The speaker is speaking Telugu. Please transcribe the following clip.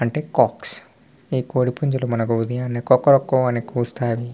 అంటే కాక్స్ ఈ కోడి పుంజులు మనకి ఉదయాన్నె కొక్కరొక్కో అని కూస్తాయి .